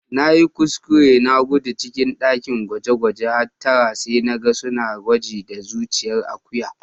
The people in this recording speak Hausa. Na yi kuskure na gudu cikin dakin gwaje-gwajen hattara sai na gan suna gwaji da zuciyan Akuya.